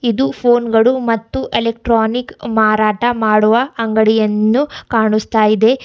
ಇದು ಫೋನ್ ಗಳು ಮತ್ತು ಎಲೆಕ್ಟ್ರಾನಿಕ್ ಮಾರಾಟ ಮಾಡುವ ಅಂಗಡಿಯನ್ನು ಕಾಣಸ್ತಾ ಇದೆ.